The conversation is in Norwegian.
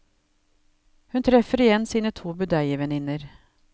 Hun treffer igjen sine to budeievenninner.